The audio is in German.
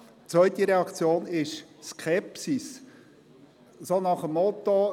Die zweite Reaktion ist Skepsis, so nach dem Motto: